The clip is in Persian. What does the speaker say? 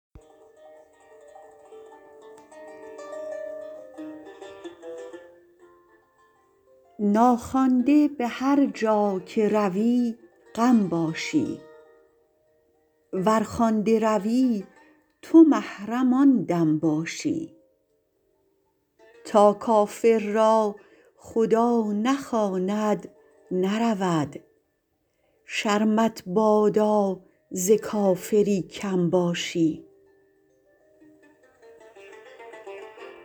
ناخوانده به هرجا که روی غم باشی ور خوانده روی تو محرم آن دم باشی تا کافر را خدا نخواند نرود شرمت بادا ز کافری کم باشی